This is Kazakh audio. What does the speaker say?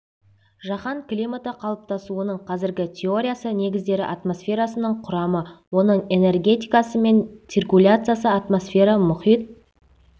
жаһан климаты қалыптасуының қазіргі теориясы негіздері атмосфераның құрамы оның энергетикасы мен циркуляциясы атмосфера мұхит